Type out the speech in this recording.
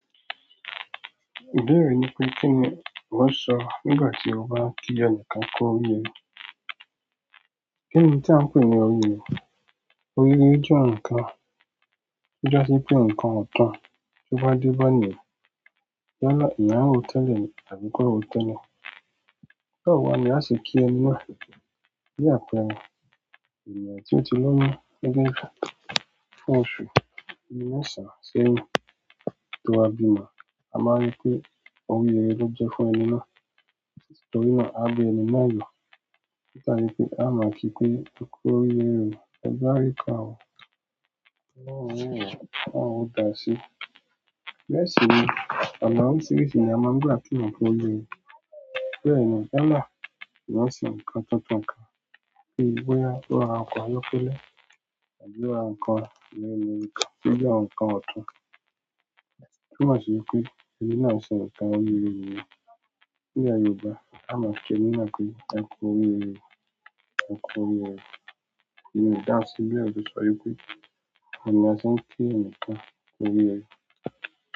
Ìbéèrè ni pé kí ni mo máa sọ nígbà tí ó bá ń tí ẹni kan kú oríire? Kí ni tí à ń pè ní oríire? Oríire jẹ́ ǹnkan tó jẹ́ pé ǹnkan ọ̀tún tó bá díbọ̀ ní ìyálọ́ ìyá òótẹ́lẹ̀ tàbí kọ́ròótẹ́lẹ̀. Bẹ́ẹ̀ wàá ni a ṣe kí ẹni náà. Bí àpẹẹrẹ ènìyàn tó ti lóyún nígbà kan fún oṣù mẹ́sàn-án sẹ́rìn tó wa bímọ, a máa rí pé oríire ló jẹ́ fún ẹni náà. Nítorí náà a bí ẹni mọ́yà. Ó dàbí pé a máa kì pé ẹ kú oríire o, ẹ bá àríkọ àwọn ọmọ òrukan àwọn òdàṣe. Bẹ́ẹ̀ sí ni, àdá oríṣiríṣi ni a máa ń gbà kí wọn pé oríire. Bẹ́ẹ̀ ni, àlá sì máa ń sìn ǹnkan tótàn kan bí i bóyá ó ra ǹnkan yọpọ́lẹ tàbí ó ra ǹnkan mẹ́ne mẹ́nu kan tó jẹ́ ǹnkan ọ̀tún. Tó ma ṣe wípé ẹni náà ń sìn ǹnkan oríire nìyẹn. Ní ilé Yorùbá, a máa ń kí ẹni náà pé ẹ kú oríire o, ẹ kú oríire o. Nínú ìdáàrì síbí ẹbí sọ wípé a ní asín kí ẹnìkan kú oríire.